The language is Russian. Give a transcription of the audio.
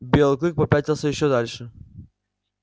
белый клык попятился ещё дальше